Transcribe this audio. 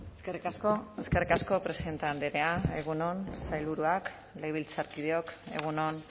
eskerrik asko eskerrik asko presidente andrea egun on sailburuak legebiltzarkideok egun on